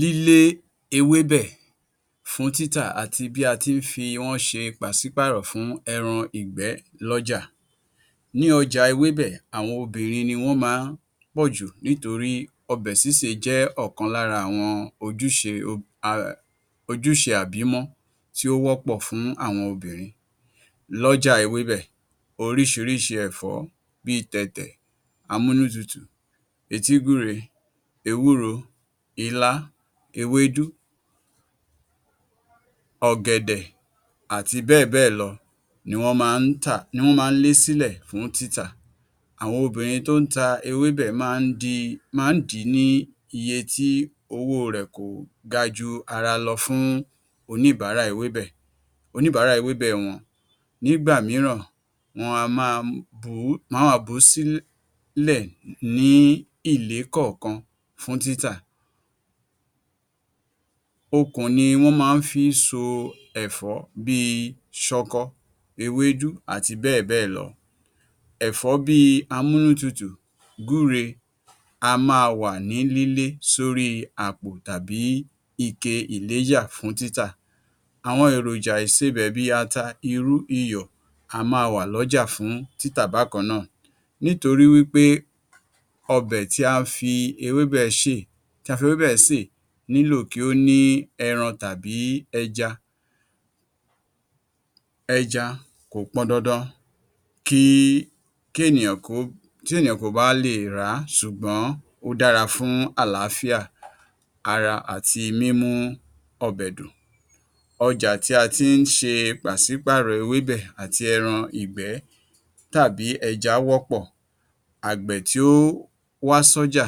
Lílé ewébẹ̀ fún títà àti bí a ti fi wọ́n ṣe pàṣípàrọ̀ fún ẹran ìgbẹ́ lọ́jà. Ní ọjà ewébẹ̀, àwọn obìnrin ni wọ́n máa pọ̀jù nítorí ọbẹ̀ sísè jẹ́ ọ̀kan lára àwọn ojúṣe àbímọ́ tí ó wọ́pọ̀ fún àwọn obìnrin. Lọ́ja ewébẹ̀, oríṣiríṣi ẹ̀fọ́ bíi tẹ̀tẹ̀, amúnútutù, etigúre, ewúro, ilá, ewédú, ọ̀gẹ̀dẹ̀, àti bẹ́ẹ̀bẹ́ẹ̀ lọ ni wọ́n máa tà ni wọ́n máa lé sí ilẹ̀ fún títà. Àwọn obìnrin tí ó ta ewébẹ máa dìí ní iye tí owó rẹ̀ kò ga jù ara lọ fún oníbàárà ewébẹ̀, oníbàárà ewebẹ̀ wọn, ní ìgbà míràn, wọn á máa bùú sílẹ̀ ní ìlé kọ̀ọ́kan fún títà. Okùn ni wọ́n ma ń fi so ẹ̀fọ́ bíi sọkọ ewédú àti bẹ́ẹ̀ bẹ́ẹ̀ lọ, ẹ̀fọ́ bíi amúnútutù, gúre, á máa wà ní lílé sóri àpò tàbí ike ìléjà fún títà. Àwọn èròjà ìsebẹ̀ bíi ata, irú iyọ̀, á máa wà lọ́jà fún títà bákàn náà, nítorí wípé ọbẹ̀ tí a fi ewébẹ̀ ṣe tí a fi ewébẹ̀ ṣe nílò kí ó ní ẹran tàbí ẹja, ẹja kò pọn dandan kí ènìyàn kó ba lè rà, ṣùgbọ́n ó dára fún àláfíà ara àti mímú ọbẹ̀ dùn. ọjà tí a ti ṣe pàṣípàrọ̀ ewébẹ̀ àti ẹran ìgbẹ́ àti ẹja wọ́pọ̀ àgbẹ̀ tí ó wá sọ́jà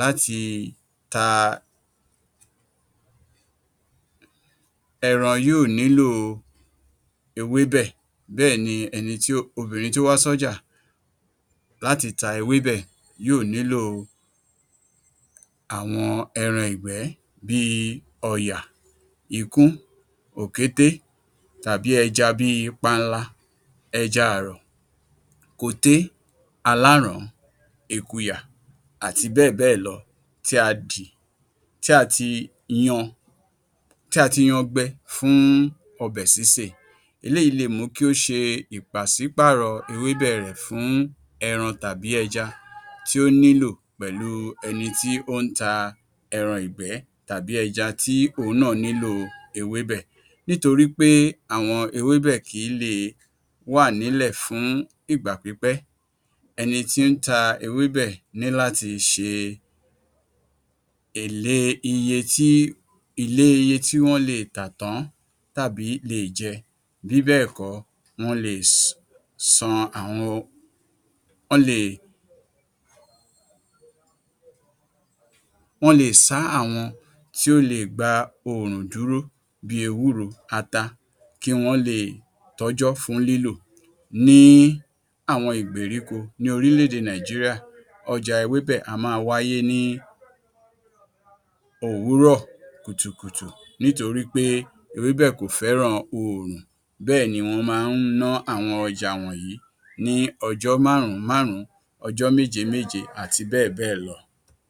láti ta ẹran yóò nílo ewébẹ̀ bẹ́ẹ̀ni ẹni tó, obìnrin tó wá sí ọjà yóò nílo àwọn ẹran ìgbẹ́ bíi ọya, ikún, òkété tàbí ẹja bíi panla, ẹja àrọ̀, koté, aláràn án, èkùyà àti bẹ́ẹ̀ bẹ́ẹ̀ lọ tí a dín, tí a ti yan tí a ti yan gbẹ́ fún ọbẹ̀ sísè, eléyìí lè mú kí ó ṣe pàṣípàrọ̀ ewébẹ̀ rẹ̀ fún ẹran tàbí ẹja tí ó nílò pẹ̀lú ẹni tí ó ta ẹran ìgbẹ́ tàbí ẹja tí òun náà nílo ewébẹ̀, nítorí pé àwọn ewébẹ̀ kìí le wa nílẹ̀ fún ìgbà pípẹ́. ẹni tí ń ta ewébẹ̀ ní láti ṣe ìle iye ìle iye tí wọ́n lè tà tán tàbí lè jẹ bí bẹ́ẹ̀ kọ́ wọ́n lè san àwọn wọ́n lè san àwọn tí ó lè gba òòrùn dúró bíi ewúro, ata, kí wọ́n lè tọ́jọ́ fún lílò. Ní àwọn ìgbéríko ní orílẹ̀-èdè Nàìjíríà, ọjà ewébẹ̀ á máa wáyé ní òwúrọ̀ kùtùkùtù, nítorí pé ewébẹ̀ kò fẹ́ran òòrùn bẹ́ẹ̀ni wọ́n máa na àwọn ọjà wọn ní ọjọ́ márùn-ún márùn ún, ọjọ́ méje-méje àti bẹ́ẹ̀ bẹ́ẹ̀ lọ.